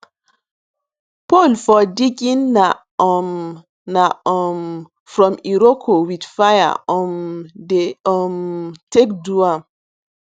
pole for digging na um na um from iroko with fire um dey um take do am